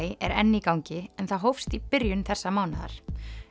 er enn í gangi en það hófst í byrjun þessa mánaðar